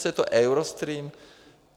Co je to Eurostream?